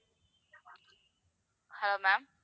hello ma'am